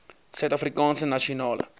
suid afrikaanse nasionale